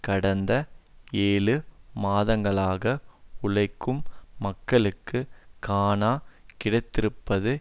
கடந்த ஏழு மாதங்களாக உழைக்கும் மக்களுக்கு காண கிடைத்திருப்பது